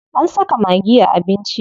An saka maggi a abinci.